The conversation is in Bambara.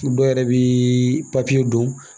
Dɔw yɛrɛ bi papiye don